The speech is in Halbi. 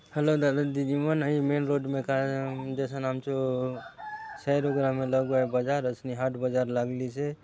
हेलो दादा दीदी मन अहि मेन रोड में का ए म देसन आमचो बजार वइसने हाट बजार लागलिस हे।